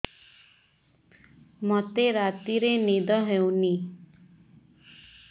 ମୋତେ ରାତିରେ ନିଦ ହେଉନି